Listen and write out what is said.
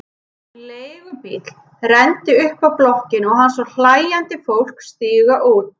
Leigubíll renndi upp að blokkinni og hann sá hlæjandi fólk stíga út.